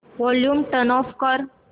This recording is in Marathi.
वॉल्यूम टर्न ऑफ कर